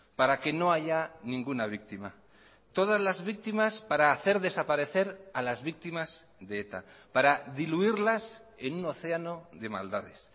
para que no haya ninguna víctima todas las víctimas para hacer desaparecer a las víctimas de eta para diluirlas en un océano de maldades